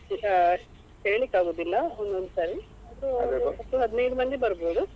ಅಹ್ ಹೇಳಿಕ್ಕಾಗುದಿಲ್ಲ ಒಂದೊಂದ್ ಸಾರಿ ಅಂದ್ರೆ ಒಟ್ಟು ಹದಿನೈದು ಮಂದಿ ಬರ್ಬೋದು.